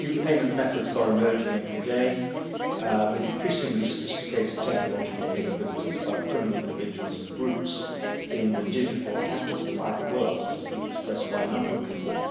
New payment methods are emerging every day with increasingly sophisticated technological capabilities by criminals, individuals and groups in the digital and in the cyber world, as has been expressed by a number of people.